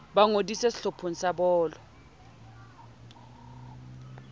ba ngodise sehlopheng sa bolo